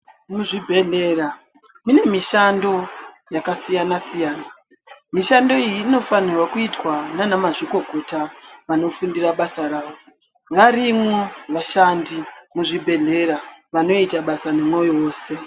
Muzvibhedhlera mune mishando yakasiyana-siyana. Mishando iyi inofanirwa kuitwa nanamazvikokota vanofundira basa ravo. Varimwo vashandi kuzvibhedhlera vanoita basa nemoyo wose.